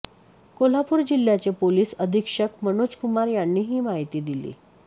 कोल्हापूर जिल्ह्याचे पोलीस अधीक्षक मनोजकुमार यांनी ही माहिती दिली